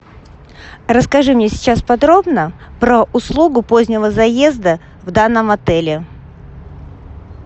расскажи мне сейчас подробно про услугу позднего заезда в данном отеле